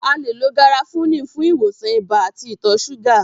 A le lo garafuni fún ìwòsàn ibà àti ìtọ súgà